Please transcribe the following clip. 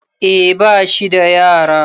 eh bashi da yara